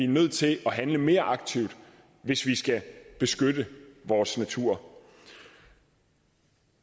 nødt til at handle mere aktivt hvis vi skal beskytte vores natur